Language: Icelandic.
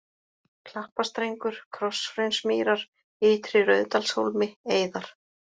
Klappastrengur, Krosshraunsmýrar, Ytri-Rauðsdalshólmi, Eiðar